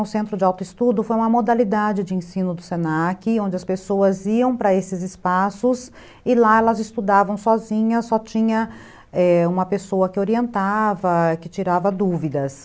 Um centro de autoestudo foi uma modalidade de ensino do se na que, onde as pessoas iam para esses espaços e lá elas estudavam sozinhas, só tinha é, uma pessoa que orientava, que tirava dúvidas.